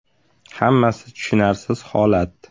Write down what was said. Hammasi tushunarsiz holat.